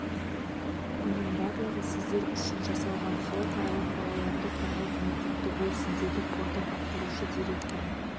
бұның барлығы сіздер үшін жасалған халықаралық балаларды қорғау күні құтты болсын деді қордың атқарушы директоры